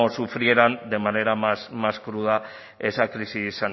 sufrieran de manera más cruda esa crisis